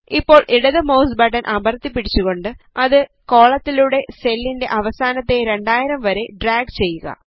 ഇപ്പോൾ ഇടത് mouse button അമർത്തി പിടിച്ചുകൊണ്ട് അത് കോളത്തിലൂടെ സെല്ലിൻറെ അവസാനത്തെ 2000 വരെ ഡ്രാഗ് ചെയ്യുക